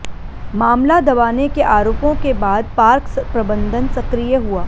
मामला दबाने के आरोपों के बाद पार्क प्रबंधन सक्रिय हुआ